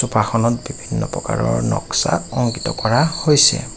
চুফাখনত বিভিন্ন প্ৰকাৰৰ নক্সা অংকিত কৰা হৈছে।